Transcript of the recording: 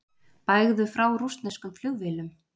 Bægðu frá rússneskum flugvélum